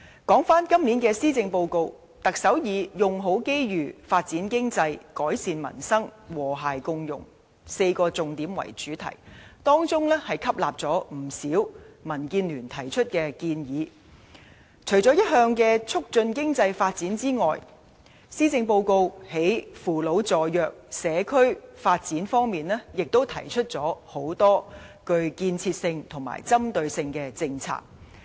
今年施政報告，特首以"用好機遇，發展經濟，改善民生，和諧共融 "4 個重點為主題，當中吸納了民主建港協進聯盟提出的不少建議，除了一如以往的促進經濟發展外，施政報告在扶老助弱、社區發展方面亦提出很多具建設性及針對性的政策。